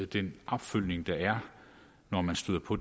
den opfølgning der er når man støder på